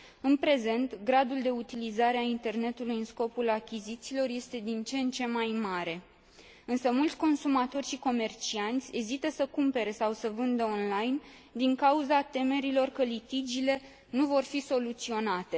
În prezent, gradul de utilizare a internetului în scopul achizițiilor este din ce în ce mai mare, însă mulți consumatori și comercianți ezită să cumpere sau să vândă online, din cauza temerilor că litigiile nu vor fi soluționate.